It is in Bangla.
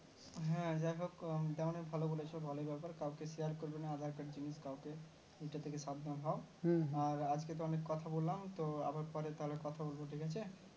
হ্যাঁ ব্যাপার তা তেমুনি ফলো করেছো ভালো ব্যাপার কাও কে এটা থেকে সাবধান হয় হম আজ কে তো অনেক কথা বললাম তো আবার পরে কথা বলবো তো ঠিক আছে